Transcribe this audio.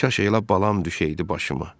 Kaş elə balam düşəydi başıma.